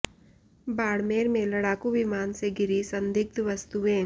बाड़मेर में लड़ाकू विमान से गिरी संदिग्ध वस्तुएं